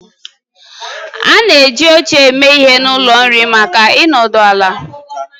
A na-eji oche eme ihe n'ụlọ nri maka ịnọdụ ala